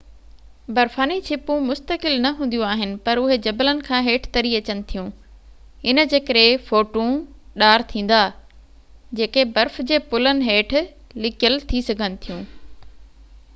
برفاني ڇپون مستقل نہ هونديون آهن پر اهي جبلن کان هيٺ تري اچن ٿيون ان جي ڪري ڦوٽون ڏار ٿيندا جيڪي برف جي پلن هيٺ لڪيل ٿي سگهن ٿيون